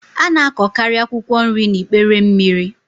A na-akọkarị akwụkwọ nri n'ikpere mmiri.